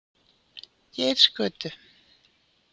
Geirsgötu